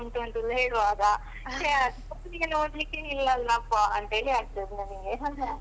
ಹಿಮ ಉಂಟು ಅಂತ ಹೇಳುವಾಗ ಊರಿಗೆಲ್ಲ ಹೋಗ್ಲಿಕ್ಕೆ ಇಲ್ಲಲ್ಲಪ್ಪಾ ಅಂತೇಳಿ ಆಗ್ತದೆ ನನ್ಗೆ